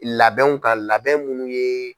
Labɛnw ka labɛn munnu ye.